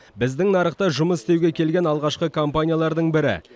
біздің нарықта жұмыс істеуге келген алғашқы компаниялардың бірі